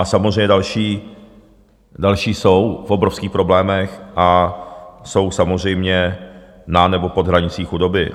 A samozřejmě další jsou v obrovských problémech a jsou samozřejmě na nebo pod hranicí chudoby.